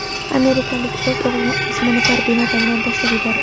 Amerikalik o‘z o‘g‘lini osmono‘par bino tomidan tashlab yubordi.